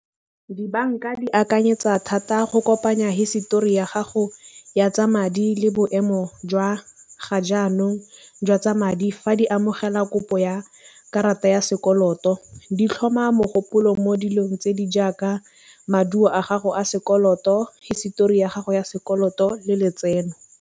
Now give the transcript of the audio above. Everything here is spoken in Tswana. Dibanka di akanyetsa thata go kopanya hisetori ya gago ya tsa madi le boemo jwa ga jaanong jwa tsa madi fa di amogela kopo ya karata ya sekoloto. Di tlhoma mogopolo mo dilong tse di jaaka maduo a gago a sekoloto, hisetori ya gago ya sekoloto le letseno.